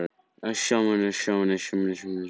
Hann stendur lengi hreyfingarlaus.